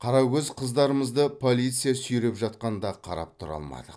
қарагөз қыздарымызды полиция сүйреп жатқанда қарап тұра алмадық